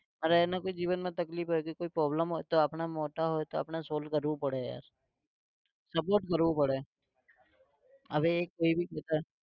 અને એના કોઈ જીવનમાં તકલીફ હોય કે કોઈ problem હોય તો આપણે મોટા હોઈ તો આપણે solve કરવું પડે યાર support કરવું પડે. હવે કોઈ भी